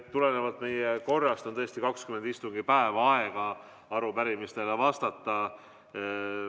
Tulenevalt meie korrast on 20 istungipäeva aega arupärimistele vastata.